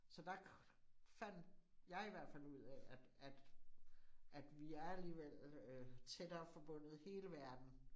Så der fandt jeg i hvert fald ud af, at at at vi er alligevel tættere forbundet hele verden